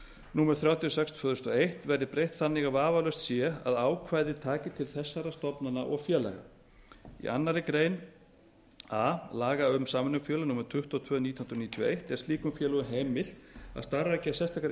númer þrjátíu og sex tvö þúsund og eitt verði breytt þannig að vafalaust sé að ákvæðið taki til þessara stofnana og félaga í annarri grein a laga um samvinnufélög númer tuttugu og tvö nítján hundruð níutíu og eitt er slíkum félögum heimilt að starfrækja sérstakar